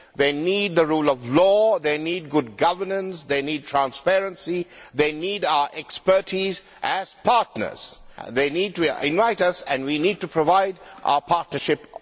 They need the rule of law, they need good governance, they need transparency, they need our expertise as partners. They need to invite us and we need to provide our partnership of know how.